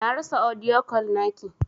Na rasa audio call naki.